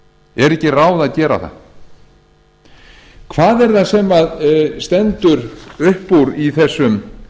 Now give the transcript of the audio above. er ekki ráð að gera það hvað er það sem stendur upp úr í þessum